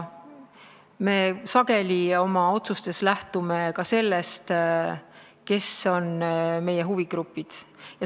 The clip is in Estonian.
Me sageli oma otsustes lähtume ka sellest, kes kuuluvad meie huvigruppidesse.